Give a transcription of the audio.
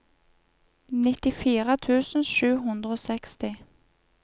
nittifire tusen sju hundre og seksti